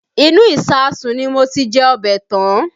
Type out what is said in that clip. Inú ìsáàsùn ni mo ti jẹ ọbẹ̀ tán